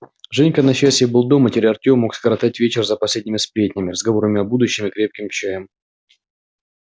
женька на счастье был дома и теперь артем мог скоротать вечер за последними сплетнями разговорами о будущем и крепким чаем